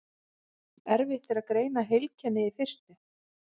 Erfitt er að greina heilkennið í fyrstu.